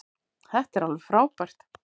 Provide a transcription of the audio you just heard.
Þetta er alveg frábært.